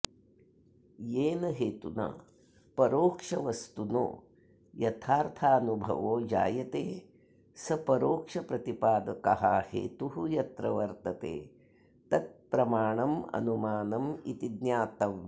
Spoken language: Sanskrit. येन हेतुना परोक्षवस्तुनो यथार्थानुभवो जायते स परोक्षप्रतिपादकः हेतुः यत्र वर्तते तत्प्रमाणमनुमानमिति ज्ञातव्यम्